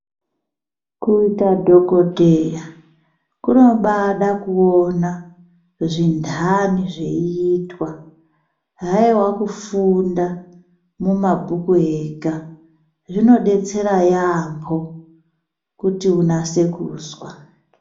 Kuita dhokodheya kunobada kuona zviindani zveiitwa haiwa kufunda mumabhuku ega zvinobatsira yambho kuti unase kuzwa.